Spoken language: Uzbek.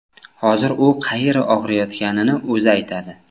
Hozir u qayeri og‘riyotganini o‘zi aytadi.